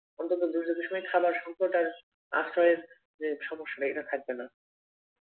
অন্তত দুর্যোগের সময় খাবার সঙ্কট আর আশ্রয়ের যে সমস্যা এটা থাকবে না